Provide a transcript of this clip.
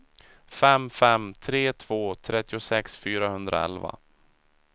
fem fem tre två trettiosex fyrahundraelva